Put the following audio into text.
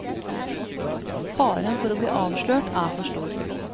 Faren for å bli avslørt er for stor.